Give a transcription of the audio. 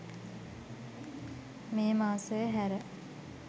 මේ මාසය හැර